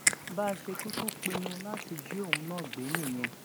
bá a ṣe kúkú pinnu láti jí òun náà gbé nìyẹn